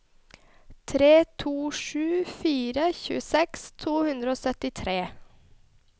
tre to sju fire tjueseks to hundre og syttitre